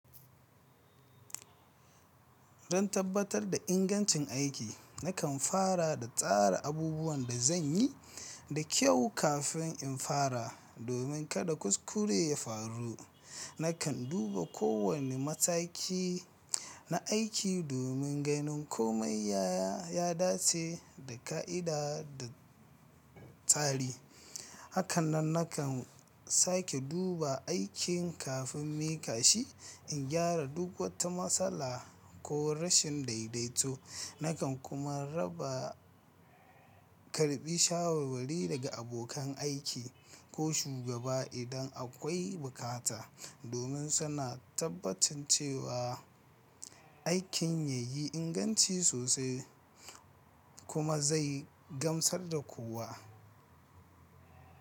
Don tabbatar da ingancin aiki, nakan fara da tsara abubuwan da zan yi da kyau kafin in fara, domin kada kuskure ya faru. Nakan duba kowane mataki na aiki domin ganin komai ya dace da ka'ida da tsari. Hakanan nakan sake duba aikin kafin miƙa shi in gyara duk wata matsala ko rashin daidaito. Nakan kuma raba karɓi shawarwari daga abokan aiki ko shugaba idan akwai bukata, domin suna tabbatancewa aikin ya yi inganci sosai kuma zai gamsar da kowa.